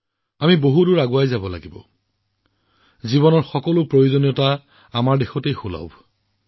আমি বহুত আগুৱাই যাব লাগিব জীৱনৰ প্ৰতিটো প্ৰয়োজনীয়তাআমাৰ দেশত এতিয়া সকলো উপলব্ধ